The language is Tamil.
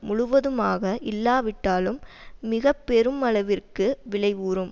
முழுவதுமாக இல்லாவிட்டாலும் மிக பெருமளவிற்கு விளைவுறும்